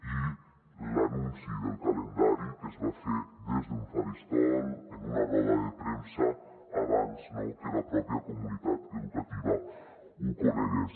i l’anunci del calendari que es va fer des d’un faristol en una roda de premsa abans no que la pròpia comunitat educativa ho conegués